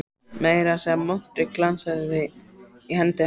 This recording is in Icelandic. Meira að segja montprikið glansaði í hendi hans.